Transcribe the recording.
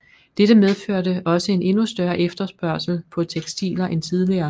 Dette medførte også en endnu større efterspørgsel på tekstiler end tidligere